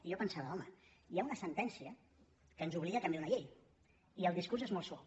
i jo pensava home hi ha una sentència que ens obliga a canviar una llei i el discurs és molt suau